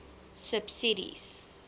subsidies